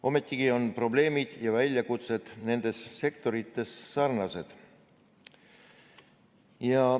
Ometigi on probleemid ja väljakutsed nendes sektorites sarnased.